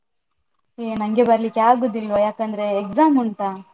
ಏ ನಂಗೆ ಬರ್ಲಿಕ್ಕೆ ಆಗುದಿಲ್ವಾ, ಯಾಕಂದ್ರೆ exam ಉಂಟಾ.